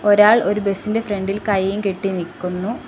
ഒരാൾ ഒരു ബസ് ഇന്റെ ഫ്രണ്ട്‌ ഇൽ കയ്യും കെട്ടി നിക്കുന്നു.